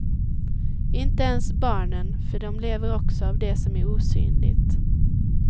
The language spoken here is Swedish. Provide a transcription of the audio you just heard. Inte ens barnen, för de lever också av det som är osynligt.